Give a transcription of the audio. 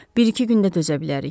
Bir-iki gündə dözə bilərik.